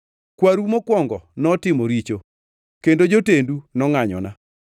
Kwaru mokwongo notimo richo; kendo jotendu nongʼanyona.